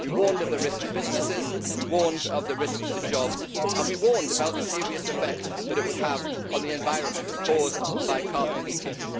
We warned of the risks to businesses, we warned of the risks to jobs and we warned about the serious effect that it would have on the environment caused by carbon leakage.